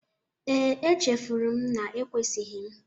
Ee, e chefuru m na ekwesighi m.